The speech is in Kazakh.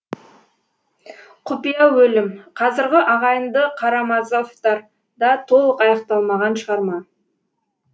құпия өлім қазіргі ағайынды карамазовтар да толық аяқталмаған шығарма